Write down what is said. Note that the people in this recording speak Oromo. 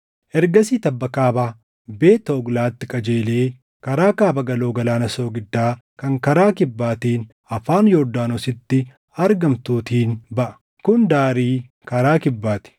Ergasii tabba kaaba Beet Hoglaatti qajeelee karaa kaaba galoo Galaana Soogiddaa kan karaa kibbaatiin afaan Yordaanositti argamtuutiin baʼa. Kun daarii karaa kibbaa ti.